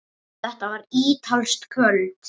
Þetta var ítalskt kvöld.